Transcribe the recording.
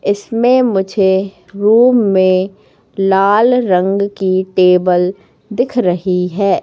इसमें मुझे रूम में लाल रंग की टेबल दिख रही है।